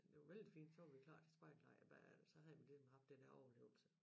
Det var vældig fint så var vi klar til spejderlejr bagefter så havde vi ligesom haft det her overlevelse